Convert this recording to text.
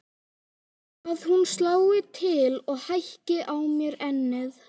Að hún slái til og hækki á mér ennið.